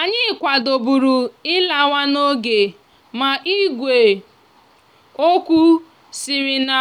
anyi kwadoburu ilawa n'oge ma igwe okwu siri na